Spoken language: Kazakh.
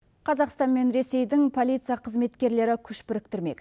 қазақстан мен ресейдің полиция қызметкерлері күш біріктірмек